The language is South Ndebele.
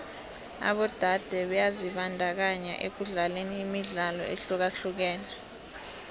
abodade byazibandakanya ekudlaleni imidlalo ehlukahlukeneko